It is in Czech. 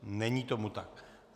Není tomu tak.